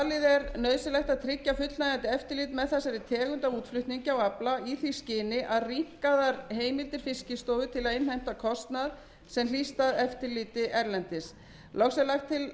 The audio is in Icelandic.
er nauðsynlegt að tryggja fullnægjandi eftirlit með þessari tegund af útflutningi á afla og í því skyni rýmkaðar heimildir fiskistofu til að innheimta kostnað sem hlýst af eftirliti erlendis loks er lagt til